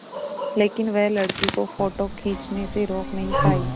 लेकिन वह लड़की को फ़ोटो खींचने से रोक नहीं पाई